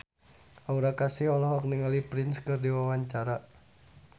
Aura Kasih olohok ningali Prince keur diwawancara